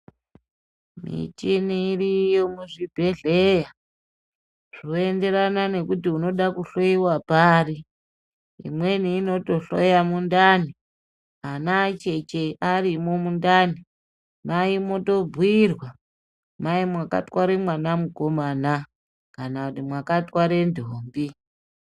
Michini iriyo muzvibhedhlera zvoenderana kuti unoda kuhloiwa pari imweni inotohloya mundani ana acheche arimo mundani vaitombobhuirwa mai makatware mwana mukomana kana makatwara ndombi.